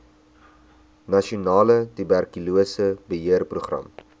nasionale tuberkulose beheerprogram